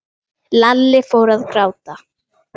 Lalli fór að gráta.